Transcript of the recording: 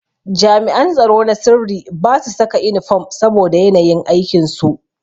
Jami'an tsaro na sirri basu saka inifom saboda yanayin aikin su.